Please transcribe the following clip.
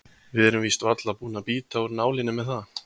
Við erum víst varla búin að bíta úr nálinni með það.